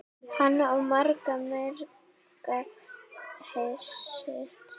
Hann á marga, marga hesta.